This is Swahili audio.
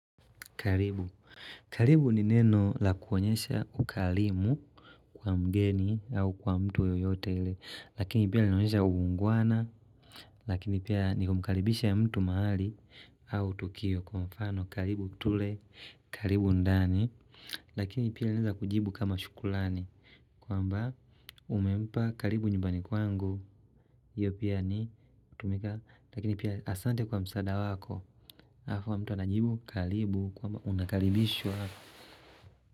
Karibu. Karibu ni neno la kuonyesha ukarimu kwa mgeni au kwa mtu yoyote ile. Lakini pia linaonyesha uungwana. Lakini pia ni kumkaribisha mtu mahali au tukio. Kwa mfano karibu tule karibu ndani. Lakini pia linaeza kujibu kama shukulani. Kwamba umempa karibu nyumbani kwangu. Iyo pia ni hutumika Lakini pia asante kwa msaada wako halafu mtu anajibu kalibu kwamba unakalibishwa.